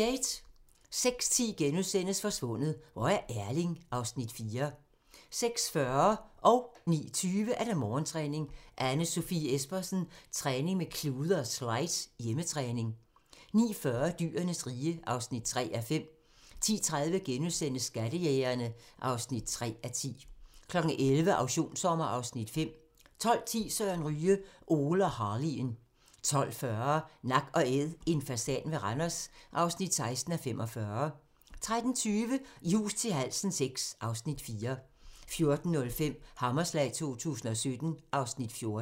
06:10: Forsvundet - hvor er Erling? (Afs. 4)* 06:40: Morgentræning: Anne Sofie Espersen - træning med klude og slides - hjemmetræning 09:20: Morgentræning: Anne Sofie Espersen - træning med klude og slides - hjemmetræning 09:40: Dyrenes rige (3:5) 10:30: Skattejægerne (3:10)* 11:00: Auktionssommer (Afs. 5) 12:10: Søren Ryge: Ole og Harley'en 12:40: Nak & Æd - en fasan ved Randers (16:45) 13:20: I hus til halsen VI (Afs. 4) 14:05: Hammerslag 2017 (Afs. 14)